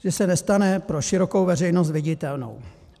Že se nestane pro širokou veřejnost viditelnou.